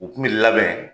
U kun bi labɛn